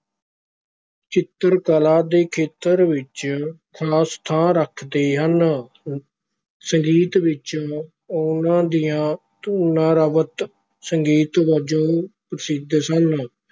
ਚਿੱਤਰ ਕਲਾ ਦੇ ਖੇਤਰ ਵਿਚ ਖਾਸ ਥਾਂ ਰੱਖਦੇ ਹਨ ਸੰਗੀਤ ਵਿਚ ਉਨਾਂ ਦੀਆਂ ਧੁਨਾਂ ਰਵਦ ਸੰਗੀਤ ਵਜੋਂ ਪ੍ਰਸਿੱਧ ਸਨ।